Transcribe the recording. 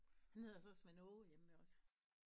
Han hedder så Svend Åge hjemme ved os